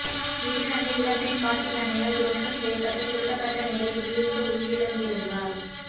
இதில் அந்த இளம்பெண் காட்டு யானையால் துவம்சம் செய்யப்பட்டு சுருட்டப்பட்ட நிலையில் வீழ்ந்து உயிரிழந்திருந்தார்